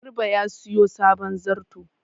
Garba ya sayo sabon zarto.